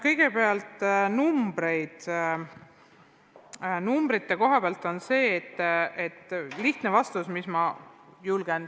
Kõigepealt, numbrite kohta on mul vastus anda.